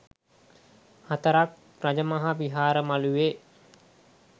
හතරක් රජමහා විහාර මළුවේ